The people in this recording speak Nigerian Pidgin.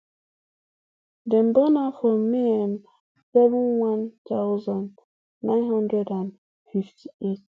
dem born her for may um seven one thousand, nine hundred and fifty-eight